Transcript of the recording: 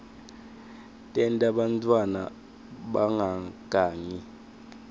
tenta bantfwana bangagangi